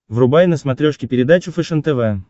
врубай на смотрешке передачу фэшен тв